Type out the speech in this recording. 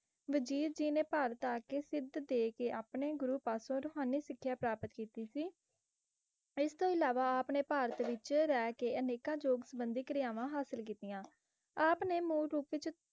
ਵਜੀਦ ਜੀ ਨੇ ਭਾਰਤ ਆ ਕੇ ਸਿੱਧ ਦੇ ਆਪਣੇ ਗੁਰੂ ਪਾਸੋ ਰੂਹਾਨੀ ਸਿੱਖਿਆ ਪ੍ਰਾਪਤ ਕੀਤੀ ਸੀ। ਇਸ ਤੋਂ ਇਲਾਵਾ ਆਪ ਨੇ ਭਾਰਤ ਵਿੱਚ ਰਹਿ ਕੇ ਅਨੇਕਾਂ ਯੋਗ ਸੰਬੰਧੀ ਕਿਰਿਆਵਾਂ ਹਾਸਿਲ ਕੀਤੀਆਂ ਆਪ ਨੇ ਮੂਲ ਰੂਪ ਵਿੱਚ